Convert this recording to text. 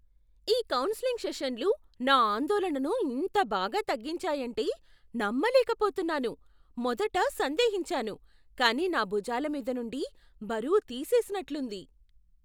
ఈ కౌన్సెలింగ్ సెషన్లు నా ఆందోళనను ఇంత బాగా తగ్గించాయంటే నమ్మలేకపోతున్నాను. మొదట సందేహించాను, కానీ నా భుజాల మీది నుండి బరువు తీసేసినట్లుంది.